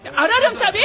Axtararam, əlbəttə.